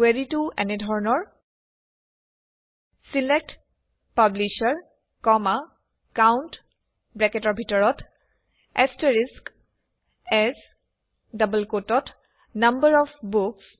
কুৱেৰিটো এনে ধৰণৰ select publisher COUNT as number of books